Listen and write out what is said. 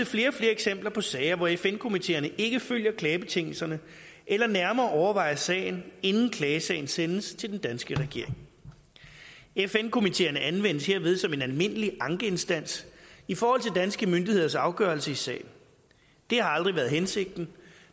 flere og flere eksempler på sager hvor fn komiteerne ikke følger klagebetingelserne eller nærmere overvejer sagen inden klagesagen sendes til den danske regering fn komiteerne anvendes herved som en almindelig ankeinstans i forhold til danske myndigheders afgørelse i sagen det har aldrig været hensigten